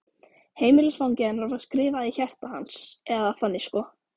Heimilisfangið hennar var skrifað í hjarta hans, eða þannig sko.